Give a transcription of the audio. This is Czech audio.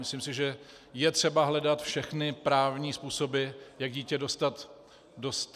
Myslím si, že je třeba hledat všechny právní způsoby, jak děti dostat zpět.